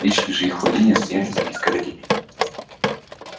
личные же их владения стояли за изгородями